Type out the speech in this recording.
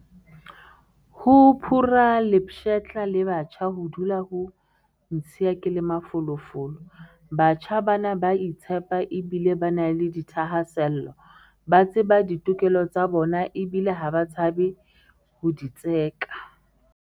Ho phura lepshetla le batjha ho dula ho ntshiya ke le mafolofolo. Batjha bana ba a itshepa ebile ba na le dithahasello. Ba tseba ditokelo tsa bona ebile ha ba tshabe ho di tseka.